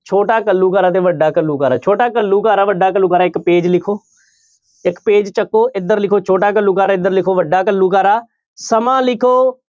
ਛੋਟਾ ਘੱਲੂਘਾਰਾ ਤੇ ਵੱਡਾ ਘੱਲੂਘਾਰਾ ਛੋਟਾ ਘੱਲੂਘਾਰਾ ਵੱਡਾ ਘੱਲੂਘਾਰਾ ਇੱਕ page ਲਿਖੋ ਇੱਕ page ਚੁੱਕੋ ਇੱਧਰ ਲਿਖੋ ਛੋਟਾ ਘੱਲੂਘਾਰਾ ਇੱਧਰ ਲਿਖੋ ਵੱਡਾ ਘੱਲੂਘਾਰਾ, ਸਮਾਂ ਲਿਖੋ